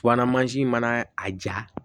Subahana mansin mana a ja